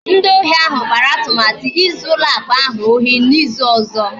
Ndị ohi ahụ kpara atụmatụ izu ụlọ akụ ahụ ohi n'izu ọzọ